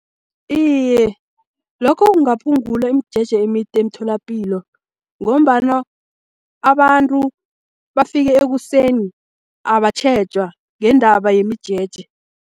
Iye, lokho kungaphungula imijeje emide emtholapilo, ngombana abantu bafike ekuseni abatjhejwa ngendaba yemijeje.